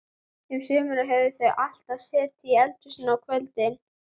Um sumarið höfðu þau alltaf setið í eldhúsinu á kvöldin.